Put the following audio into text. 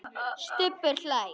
Stubbur hlær.